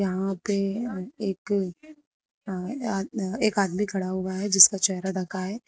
यहां पे एक अह ये आ एक आदमी खड़ा हुआ है जिसका चेहरा ढका है।